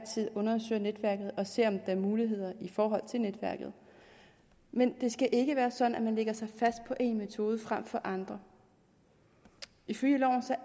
tid undersøger netværket og ser om der er muligheder i netværket men det skal ikke være sådan at man lægger sig fast på en metode frem for andre ifølge loven